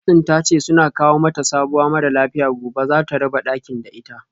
Nurse din tace suna kawo mata sabuwa mara lafiya gobe zata raba dakin da ita